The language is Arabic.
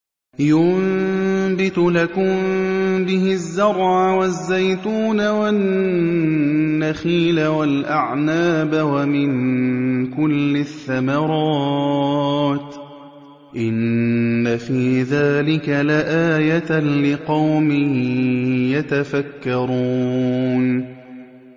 يُنبِتُ لَكُم بِهِ الزَّرْعَ وَالزَّيْتُونَ وَالنَّخِيلَ وَالْأَعْنَابَ وَمِن كُلِّ الثَّمَرَاتِ ۗ إِنَّ فِي ذَٰلِكَ لَآيَةً لِّقَوْمٍ يَتَفَكَّرُونَ